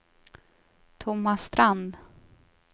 Tomas Strand